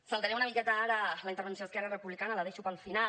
saltaré una miqueta ara la intervenció d’esquerra republicana la deixo per al final